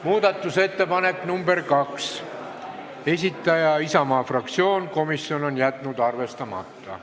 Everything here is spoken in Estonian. Muudatusettepaneku nr 2 esitaja on Isamaa fraktsioon, komisjon on jätnud arvestamata.